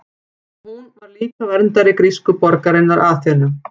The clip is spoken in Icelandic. Hún var líka verndari grísku borgarinnar Aþenu.